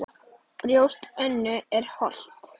Brjóst Önnu er holt.